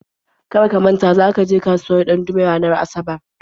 Kar ka manta za ka je kasuwar Ɗandume ranar Asabar!